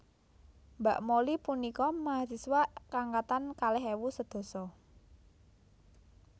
Mbak Molly punika mahasiswa angkatan kalih ewu sedasa